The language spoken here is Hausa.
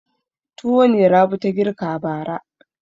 Tuwo ne Rabi ta girka bara.